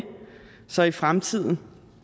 så i fremtiden